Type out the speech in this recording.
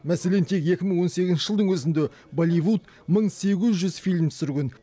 мәселен тек екі мың он сегізінші жылдың өзінде болливуд мың сегіз жүз фильм түсірген